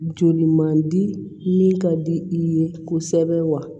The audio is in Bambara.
Joli man di min ka di i ye kosɛbɛ wa